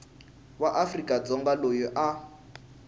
wa afrika dzonga loyi a